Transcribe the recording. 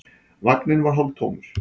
Vagninn var hálftómur.